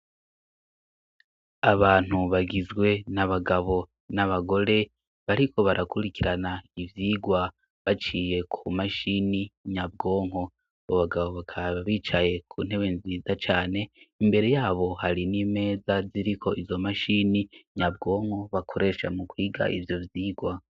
Abantu bagizwe na bagabo ni abagore bariko barakurikirana ivyigwa baciye ku mashini nyabwonko abo bagabo bakaba bicaye ku ntebe nziza cane imbere yabo hari n'imeza ziriko izo mashini nyabwonko bakoresha mu kwiga ivyo uzigwa.